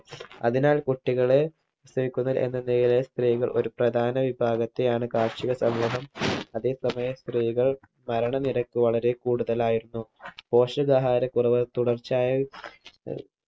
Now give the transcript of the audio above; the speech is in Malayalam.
അതിനാൽ കുട്ടികളെ പ്രസവിക്കുന്നവർ എന്ന നിലയിലെ സ്ത്രീകൾ ഒരു പ്രധാന വിഭാഗത്തെയാണ് കാർഷിക സമൂഹം അതേ സമയം സ്ത്രീകൾ മരണ നിരക്ക് വളരെ കൂടുതലായിരുന്നു പോഷകാഹാര കുറവ് തുടർച്ചയായ ഏർ